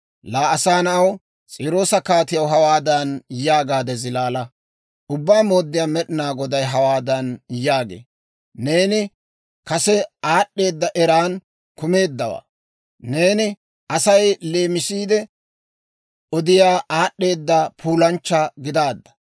«Laa asaa na'aw, S'iiroosa kaatiyaw hawaadan yaagaade zilaala; ‹Ubbaa Mooddiyaa Med'inaa Goday hawaadan yaagee; «Neeni kase aad'd'eeda eran kumeeddawaa; neeni Asay leemisiide odiyaa aad'd'eeda puulanchcha gidaadda.